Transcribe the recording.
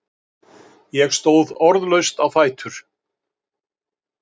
Ég stóð orðlaust á fætur.